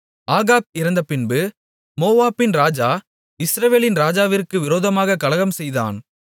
Ahab இறந்தபின்பு மோவாபின் ராஜா இஸ்ரவேலின் ராஜாவிற்கு விரோதமாகக் கலகம் செய்தான்